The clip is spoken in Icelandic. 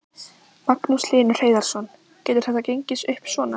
Magnús Hlynur Hreiðarsson: Getur þetta gengið upp svona?